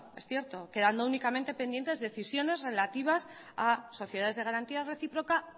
es cierto quedando únicamente pendientes decisiones relativas a sociedades de garantía reciproca